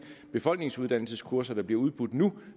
befolkningsuddannelseskurser der bliver udbudt nu